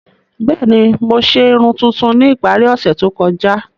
Bẹẹni, Mo ṣe irun tuntun ni ipari ose to kọja.